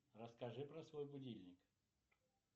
расскажи про свой будильник